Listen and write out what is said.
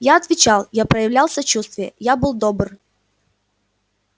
я отвечал я проявлял сочувствие я был добр